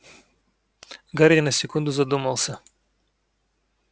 гарри на секунду задумался